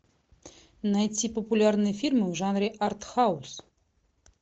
найти популярные фильмы в жанре арт хаус